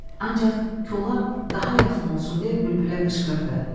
Ancaq kola daha yaxın olsun deyə bülbülə qışqırdı.